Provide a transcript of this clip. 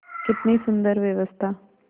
कितनी सुंदर व्यवस्था